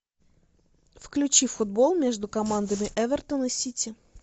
включи футбол между командами эвертон и сити